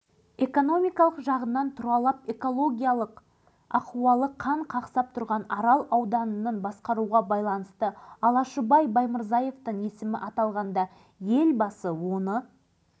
кіші арал суға толды көп ұзамай алашыбайдың есімі ел аузына іліге бастады жаңашыл азаматтар қай жерде